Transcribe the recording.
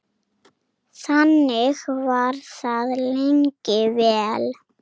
Þannig var það lengi vel.